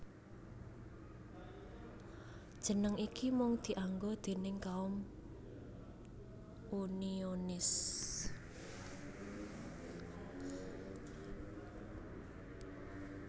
Jeneng iki mung dianggo déning kaum Unionis